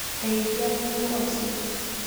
Ndeithia muhuko ucio